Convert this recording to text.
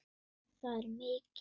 Það er mikið.